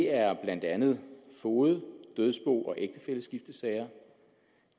er blandt andet foged dødsbo og ægtefælleskiftesager